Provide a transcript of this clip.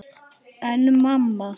En mamma!